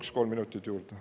Palun kolm minutit juurde.